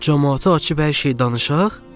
Camaata açıb hər şeyi danışaq?